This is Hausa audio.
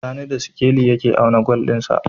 Sani da sikeli yake auna gwal din sa